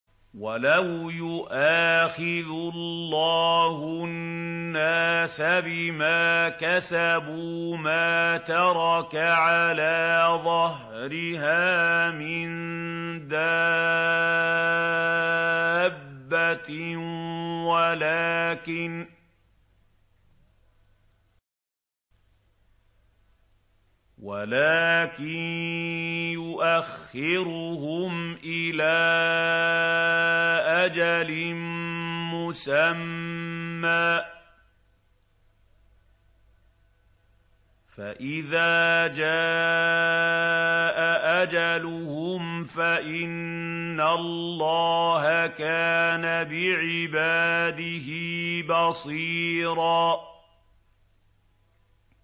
وَلَوْ يُؤَاخِذُ اللَّهُ النَّاسَ بِمَا كَسَبُوا مَا تَرَكَ عَلَىٰ ظَهْرِهَا مِن دَابَّةٍ وَلَٰكِن يُؤَخِّرُهُمْ إِلَىٰ أَجَلٍ مُّسَمًّى ۖ فَإِذَا جَاءَ أَجَلُهُمْ فَإِنَّ اللَّهَ كَانَ بِعِبَادِهِ بَصِيرًا